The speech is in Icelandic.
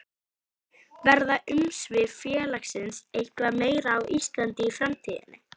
Þóra: Verða umsvif félagsins eitthvað meiri á Íslandi í framtíðinni?